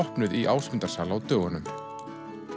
opnuð í Ásmundarsal á dögunum það